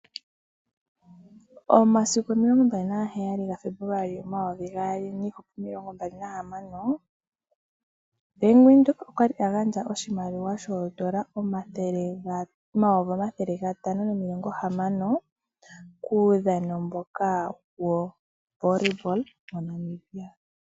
Omasiku 27 Febuluali 2026 Bank Windhoek okwali agandja oshimaliwa shoodola N$ 560 000.00 kuudhano mboka woVolleyball waNamibia.